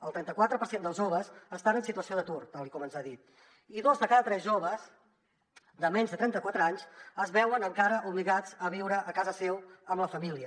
el trenta quatre per cent dels joves estan en situació d’atur tal com ens ha dit i dos de cada tres joves de menys de trenta quatre anys es veuen encara obligats a viure a casa seu amb la família